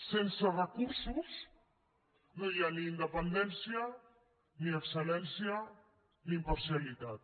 sense recursos no hi ha ni independència ni excel·lència ni imparcialitat